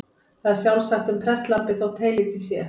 Það er sjálfsagt um prestlambið þó heylítið sé.